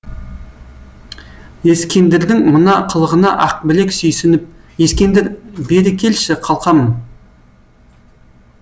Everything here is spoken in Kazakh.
ескендірдің мына қылығына ақбілек сүйсініп ескендір бері келші қалқам